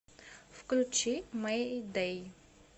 включи мэйдэй